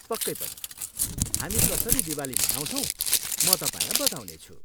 पक्कै पनि, हामी कसरी दिवाली मनाउँछौँ, म तपाईँलाई बताउनेछु।